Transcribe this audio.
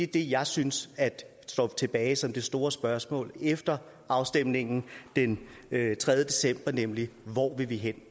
det jeg synes står tilbage som det store spørgsmål efter afstemningen den tredje december nemlig hvor vil vi hen